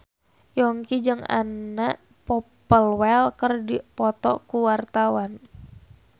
Yongki jeung Anna Popplewell keur dipoto ku wartawan